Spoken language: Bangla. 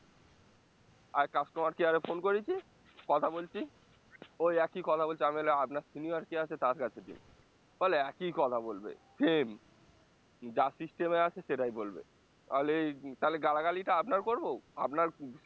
আর customer care এ phone করেছি কথা বলছি ওই একই কথা বলছে, আমি তাহলে আপনার senior কে আছে তার কাছে দিন, বলে একই কথা বলবে same যা system আছে সেটাই বলবে তাহলে এই তাহলে গালাগালি টা আপনার করবো? আপনার